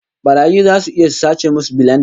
Barayi zasu iya su sace musu bilenda